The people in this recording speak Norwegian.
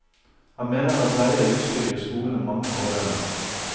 Han mener at leie av utstyr gir skolene mange fordeler.